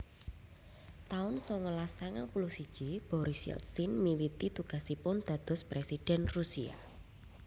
taun songolas sangang puluh siji Boris Yeltsin miwiti tugasipun dados Présidhèn Rusia